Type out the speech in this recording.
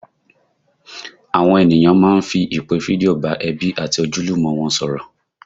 Àwọn ènìyàn máa ń fi ìpè fídíò bá ẹbí àti ojúlùmọ̀ wọn sọ̀rọ̀